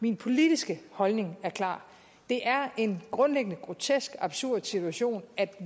min politiske holdning er klar det er en grundlæggende grotesk og absurd situation at